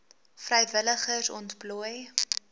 vrywilligers ontplooi